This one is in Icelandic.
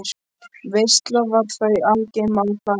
Veisla var þá í algleymi á hlaði.